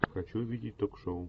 хочу видеть ток шоу